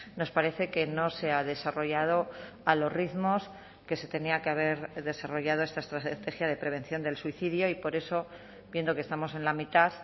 nos parece que no se ha desarrollado a los ritmos que se tenía que haber desarrollado esta estrategia de prevención del suicidio y por eso viendo que estamos en la mitad